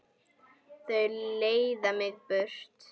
Og þau leiða mig burt.